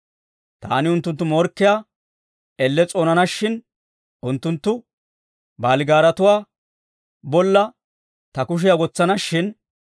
Taani unttunttu morkkiyaa elle s'oonana shin; unttunttu baaligaaraatuwaa bolla ta kushiyaa wotsana shin.